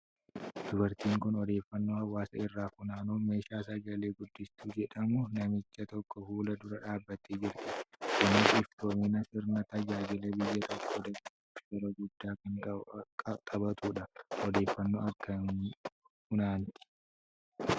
Dubartiin kun odeeffannoo hawaasa irraa funaanuuf meeshaa sagalee guddistuu jedhamu namicha tokko fuula dura dhaabattee jirti. Kunis iftoomina sirna tajaajila biyya tokkoo dabaluuf shoora guddaa kan taphatudha. Odeeffannoo akkamii funaanti?